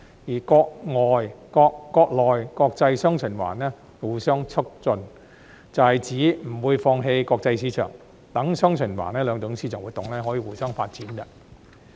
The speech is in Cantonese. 至於國內國際"雙循環"互相促進，則指不會放棄國際市場，讓"雙循環"兩種市場活動可以互相發展。